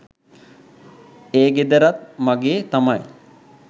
ඒ ගෙදරත් මගේ තමයි.